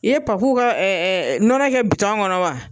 I ye Papu ka nɔnɔ kɛ bitɔn kɔnɔ wa ?